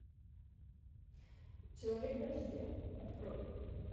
человек дождя открой